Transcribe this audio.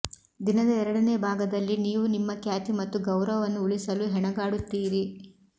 ದಿನದ ಎರಡನೇ ಭಾಗದಲ್ಲಿ ನೀವು ನಿಮ್ಮ ಖ್ಯಾತಿ ಮತ್ತು ಗೌರವವನ್ನು ಉಳಿಸಲು ಹೆಣಗಾಡುತ್ತೀರಿ